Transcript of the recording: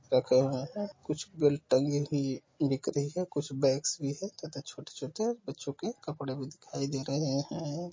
रखे है कुछ बेल्ट टगीं हुई दिख रही है कुछ बैग्स भी है छोटे छोटे बच्चों के कपड़े भी दिखाई दे रहे है।